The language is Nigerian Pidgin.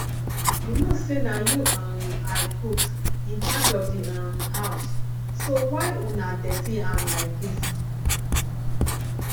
you no say na you um i put in charge of the um house so why una dirty am like dis